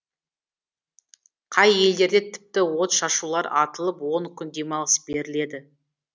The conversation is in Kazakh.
қай елдерде тіпті отшашулар атылып он күн демалыс беріледі